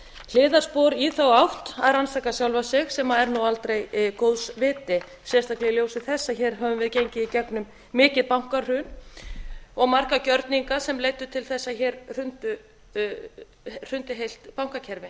hliðarspor í þá átt að rannsaka sjálfa sig sem er aldrei góðs viti sérstaklega í ljósi þess að hér höfum við gengið í gegnum mikið bankahrun og marga gjörninga sem leiddu til þess að hér hrundi heilt bankakerfi